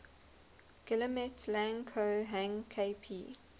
guillemets lang ko hang kp